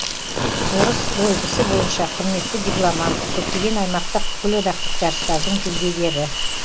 орыс дойбысы бойынша құрметті дипломант көптеген аймақтық бүкілодақтық жарыстардың жүлдегері